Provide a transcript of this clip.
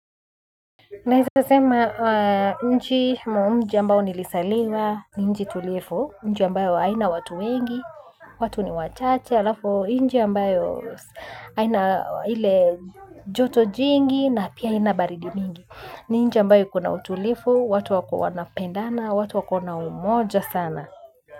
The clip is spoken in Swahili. Naweza sema nchi ama mji ambao nilizaliwa ni nchi tulivu nchi ambayo haina watu wengi watu ni wachache alafu nchi ambayo haina ile joto jingi na pia haina baridi mingi ni nchi ambayo kuna utulifu watu wako wanapendana watu wako na umoja sana.